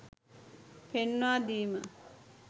පෙන්වා දීම